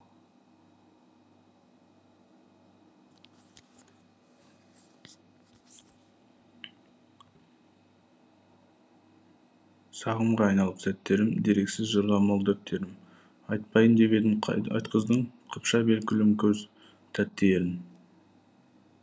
сағымға айналып сәттерім дерексіз жырға мол дәптерім айтпайын деп едім айтқыздың қыпша бел күлім көз тәтті ерін